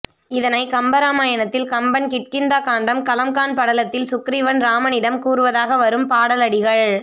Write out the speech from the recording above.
இதனைக் கம்பராமயணத்தில் கம்பன் கிட்கிந்தாகாண்டம் கலம்காண் படலத்தில் சுக்கிரீவன் இராமனிடம் கூறுவதாக வரும் பாடல் அடிகள்